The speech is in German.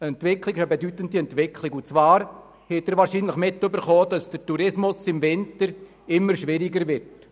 Sie haben wahrscheinlich erfahren, dass der Tourismus im Winter immer schwieriger wird.